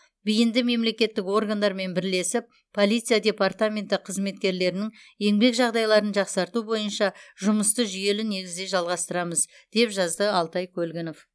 беиінді мемлекеттік органдармен бірлесіп полиция департаменті қызметкерлерінің еңбек жағдаиларын жақсарту боиынша жұмысты жүиелі негізде жалғастырамыз деп жазды алтай көлгінов